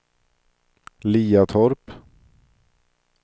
Liatorp